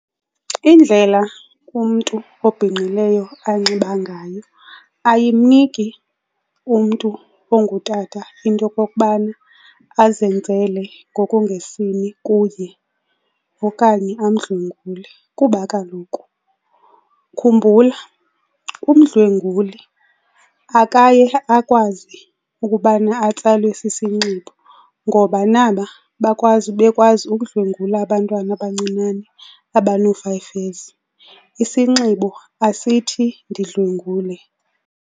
Indlela umntu obhinqileyo anxiba ngayo ayimniki umntu ongutata into yokokubana azenzele ngokungesini kuye okanye amdlwengule kuba kaloku khumbula, umdlwenguli akaye akwazi ukubana atsalwe sisinxibo ngoba naba bakwazi bekwazi ukudlwengulwa abantwana abancinane abanoo-five years. Isinxibo asithi ndidlwengule.